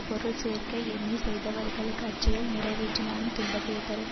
பொருள் சேர்க்க எண்ணி செய்தவர்களுக்கு அச்செயல் நிறைவேறினாலும் துன்பத்தையே தரும்